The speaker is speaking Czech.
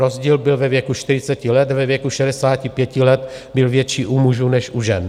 Rozdíl byl ve věku 40 let, ve věku 65 let byl větší u mužů než u žen.